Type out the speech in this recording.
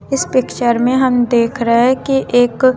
इस पिक्चर में हम देख रहे है कि एक--